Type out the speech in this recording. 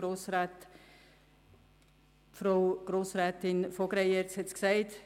Frau Grossrätin von Greyerz hat es gesagt: